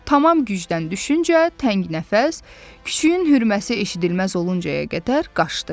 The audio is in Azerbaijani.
Tamam gücdən düşüncə təngnəfəs, küçüyün hürməsi eşidilməz oluncaya qədər qaçdı.